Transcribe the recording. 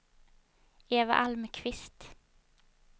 Eva Almqvist